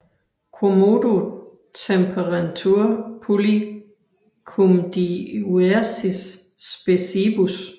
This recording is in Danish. Quomodo temperentur pulli cum diuersis speciebus